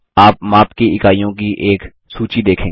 आप माप की इकाइयों की एक सूची देखेंगे